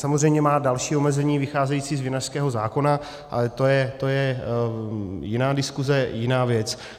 Samozřejmě má další omezení vycházející z vinařského zákona, ale to je jiná diskuse, jiná věc.